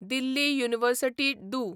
दिल्ली university दू